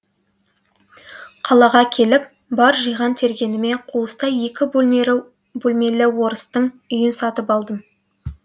қалаға келіп бар жиған тергеніме қуыстай екі бөлмелі орыстың үйін сатып алдым